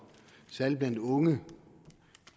særlig blandt unge